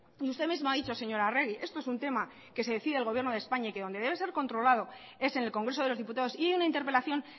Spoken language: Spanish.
y usted mismo ha dicho señora arregi esto es un tema que se decide en el gobierno de españa y que donde debe ser controlado es en el congreso de los diputados y en una interpelación